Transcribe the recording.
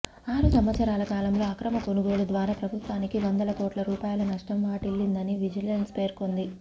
ఆరు సంవత్సరాల కాలంలో అక్రమ కొనుగోలు ద్వారా ప్రభుత్వానికి వందల కోట్ల రూపాయల నష్టం వాటిల్లిందని విజిలెన్స్ పెర్కొంది